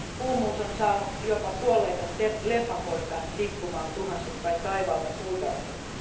Kuumuus on saanut jopa kuolleita lepakoita tippumaan tuhansittain taivaalta puutarhoihin.